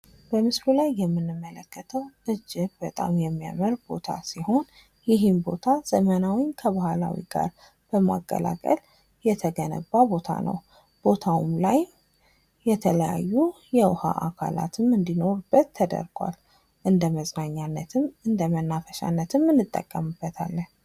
በምስሉ ላይ የምንመለከተዉ እጅግ በጣም የሚያምር ቦታ ሲሆን ይሄን ቦታ ዘመናዊን ከባህላዊ ጋር በማቀላቀል የተገነባ ቦታ ነዉ። ቦታዉም ላይ የተለያዩ የዉኃ አካላት እንዲኖሩበት ተደርጓል።